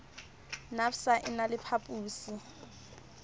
nafvsa e na le phaposi